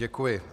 Děkuji.